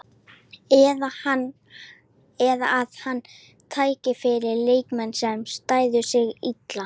Eða að hann tæki fyrir leikmenn, sem stæðu sig illa?